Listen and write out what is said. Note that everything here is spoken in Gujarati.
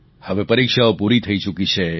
હવે પરિક્ષાઓ પૂરી થઈ ચૂકી છે